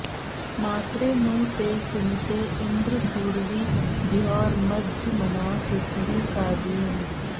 मात्रे॒ नु ते॒ सुमि॑ते इन्द्र पू॒र्वी द्यौर्म॒ज्मना॑ पृथि॒वी काव्ये॑न